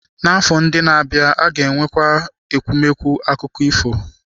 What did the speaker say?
Afọ ndị na-abịa a ga-enwekwu akụkọ ifo ịkọ.